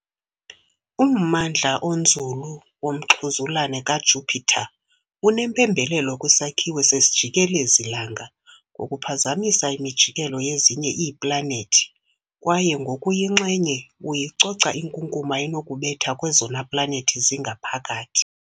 Ummandla onzulu womxhuzulane kaJupiter unempembelelo kwisakhiwo sesijikelezi-langa ngokuphazamisa imijikelo yezinye iiplanethi kwaye ngokuyinxenye "uyicoca" inkunkuma enokubetha kwezona planethi zingaphakathi.